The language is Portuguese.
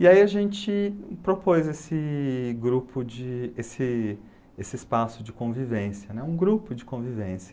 E aí a gente propôs esse grupo de, esse, esse espaço de convivência, um grupo de convivência.